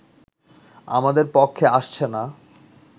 আমাদের পক্ষে আসছে না